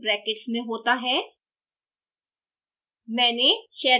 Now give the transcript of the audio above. package का name brackets में होता है